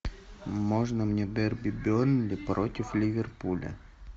можно мне дерби бернли против ливерпуля